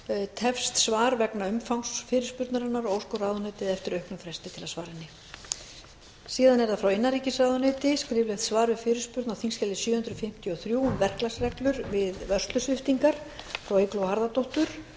tefst svar vegna umfangs fyrirspurnarinnar og óskar ráðuneytið eftir auknum fresti til að svara henni frá innanríkisráðuneyti skriflegt svar við fyrirspurn á þingskjali sjö hundruð fimmtíu og þrjú um verklagsreglur við vörslusviptingar frá eygló harðardóttur